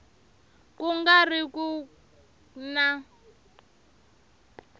ku nga ri ku na